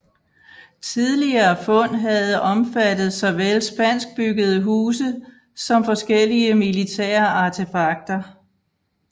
Tidligere fund havde omfattet såvel spanskbyggede huse som forskellige militære artefakter